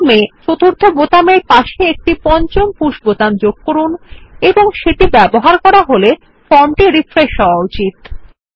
form এর চতুর্থ বোতামের পাশে একটি পঞ্চম পুশ বোতাম যোগ করুন এবং যেটি ব্যবহার করা হলে ফর্ম রিফ্রেশ হওয়া উচিত